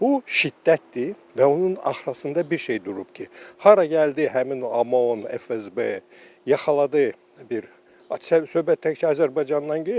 Bu şiddətdir və onun arxasında bir şey durub ki, hara gəldi həmin OMON, FSB yaxaladı bir söhbət tək Azərbaycandan gedir.